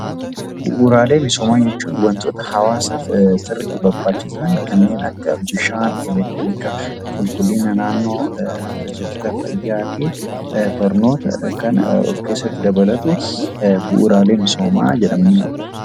Bu'uraalee misoomaa jechuun wantoota hawaasaaf sirriitti barbaachisan kanneen akka Bishaa, elektiriika, qulqullina naannoo, tajaajila fayyaa fi barnoota kan of keessatti dabalatu 'Bu'uraalee misoomaa' jedhama.